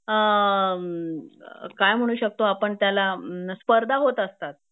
अ काय म्हणू शकतो आपण त्याला स्पर्धा होत असतात